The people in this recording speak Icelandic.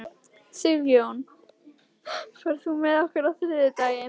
Sigjón, ferð þú með okkur á þriðjudaginn?